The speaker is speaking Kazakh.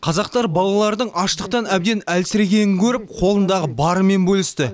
қазақтар балалардың аштықтан әбден әлсірегенін көріп қолындағы барымен бөлісті